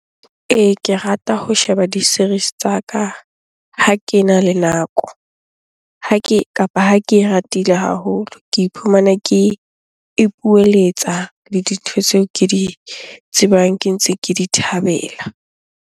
Ee, ke rata ho sheba di-series tsa ka ha kena le nako. Ha ke, kapa ha ke ratile haholo ke iphumana ke ipoeletsa le dintho tseo ke di tsebang ke ntse ke di thabela.